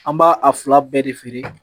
An b'a a fila bɛɛ de feere